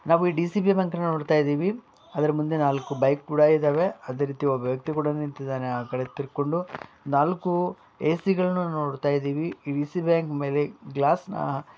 ನಾವು ಈ DCB bank ನ ನೋಡ್ತ ಇದ್ದಿವಿ ಅದ್ರ್ ಮುಂದೆ ನಾಲ್ಕು ಬೈಕ್ ಕೂಡ ಇದಾವೆ ಅದೇರೀತಿ ಒಬ್ಬ ವ್ಯಕ್ತಿ ಕೂಡ ನಿಂತಿದ್ದಾನೆ ಆಕಡೆ ತಿರ್ಕೊಂಡು ನಾಲ್ಕು ಎ.ಸಿ ಗಳುನ್ನು ನೋಡತಾ ಇದ್ದಿವಿ ಈ ಡಿ.ಸಿ.ಬಿ ಬ್ಯಾಂಕ್ಮೇ ಲೆ ಗ್ಲಾಸ್ ನ ಅಹ್‌ --